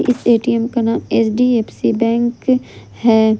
इस ए_टी_एम का नाम एच_डी_एफ_सी बैंक है।